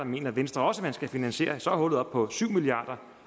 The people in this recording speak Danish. mener venstre også man skal finansiere og så er hullet oppe på syv milliard